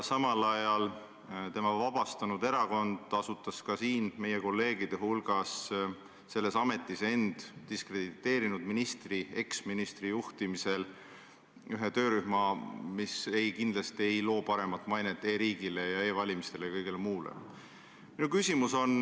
Samal ajal asutas tema vabastanud erakond ka siin meie kolleegide hulgas selles ametis end diskrediteerinud eksministri juhtimisel ühe töörühma, mis kindlasti ei loo paremat mainet e-riigile, e-valimistele ega kõigele muule.